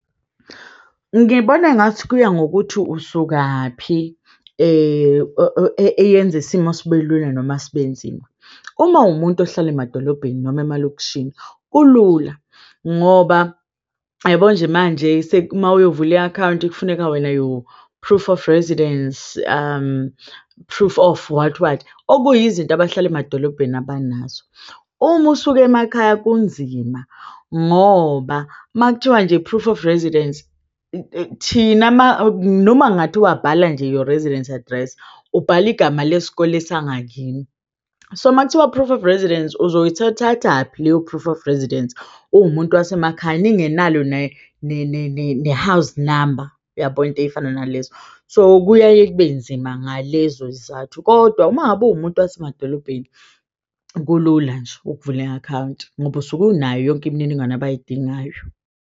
Ngibona engathi kuya ngokuthi usukaphi eyenza isimo sibe lula noma sibe nzima. Uma uwumuntu ohlala emadolobheni noma emalokishini kulula ngoba yabo nje manje se mawuyovula i-akhawunti. Kufuneka wena your proof of residence, proof of what what okuyizinto abahlala emadolobheni abanazo. Uma usuke emakhaya kunzima ngoba makuthiwa nje proof of residence noma kungathiwa nje bhala your residence address ubhala igama lesikole sangakini, so makuthiwa proof of residence uzoyithathaphi leyo proof of residence. Uwumuntu wasemakhaya ninge enalo ne-house number uyabo into eyifana nalezo, so kuyaye kube nzima ngalezo zizathu, kodwa uma ngabe uwumuntu wasemadolobheni kulula nje ukuvula i-akhawunti ngoba usuke unayo yonke imininingwane abayidingayo.